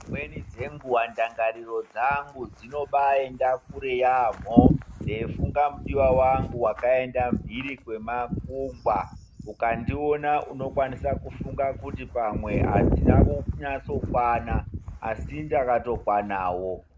Nedzimweni dzenguwa ndangariro dzangu dzinombaaenda kure yaamho ndeifunga mudiwa angu wakaenda mhuri kwemakungwa. Ukandiona unofunga kuti adzina kunyatsokwana asi ndakatokwanawo.